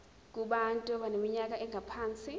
kubantu abaneminyaka engaphansi